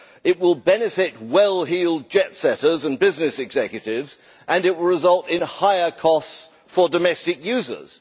It will benefit well heeled jet setters and business executives and it will result in higher costs for domestic users.